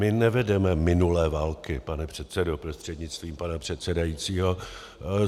My nevedeme minulé války, pane předsedo prostřednictvím pana předsedajícího.